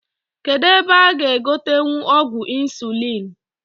Kedu ebe a g'egotenwu ọgwụ insuliin?